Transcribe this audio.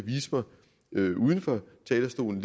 uden for talerstolen